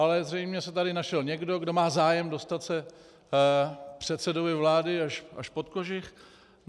Ale zřejmě se tady našel někdo, kdo má zájem dostat se předsedovi vlády až pod kožich.